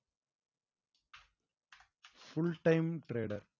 full time trader